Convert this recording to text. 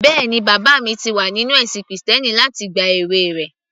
Bẹ́ẹ̀ni, bàbá mi ti wà nínú ẹ̀sìn krìstẹ́nì láti ìgbà èwe rẹ̀